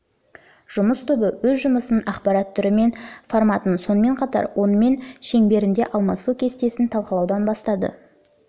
жұмыс тобы өз жұмысын ақпарат түрі мен форматын сонымен қатар онымен шеңберінде алмасу кестесін талқылаудан бастады